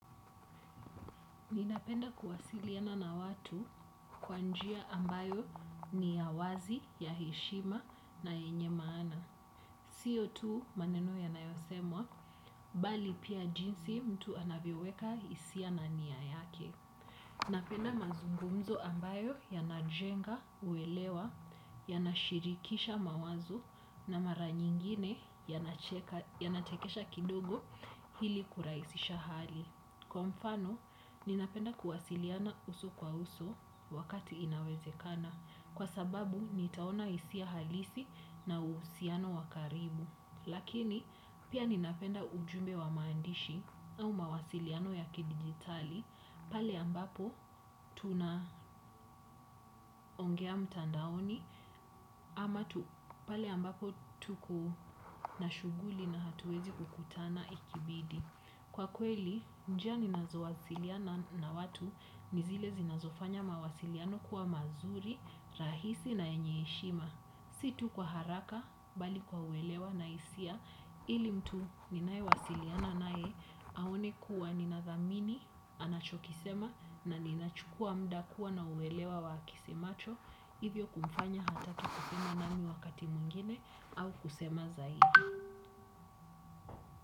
Ninapenda kuwasiliana na watu kwa njia ambayo ni ya wazi, ya heshima na yenye maana. Sio tu maneno yanayosemwa, bali pia jinsi mtu anavyoweka hisia na nia yake. Napenda mazungumzo ambayo yanajenga uelewa, yanashirikisha mawazo na mara nyingine yanachekesha kidogo ili kurahisisha hali. Kwa mfano, ninapenda kuwasiliana uso kwa uso wakati inawezekana kwa sababu nitaona hisia halisi na uhusiano wa karibu. Lakini, pia ninapenda ujumbe wa maandishi au mawasiliano ya kidijitali pale ambapo tuna ongea mtandaoni ama pale ambapo tuko na shughuli na hatuwezi kufanya kukutana ikibidi. Kwa kweli, njia ninazo wasiliana na watu, ni zile zinazofanya mawasiliano kuwa mazuri, rahisi na yenye heshima. Si tu kwa haraka, bali kwa uelewa na hisia, ili mtu ninaewasiliana naye, aone kuwa ninathamini, anachokisema, na ninachukua muda kuwa na uelewa wa akisemacho, hivyo kumfanya atake kusema nami wakati mwingine, au kusema zaidi.